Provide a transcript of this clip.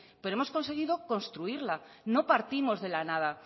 pero hemos conseguido construirla no partimos de la nada